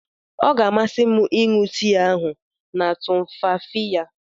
Ọ ga-amasị m ịṅụ tii ahụ na tumfafiya.